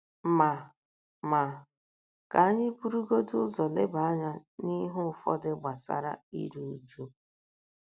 * Ma * Ma, ka anyị burugodị ụzọ leba anya n’ihe ụfọdụ gbasara iru uju.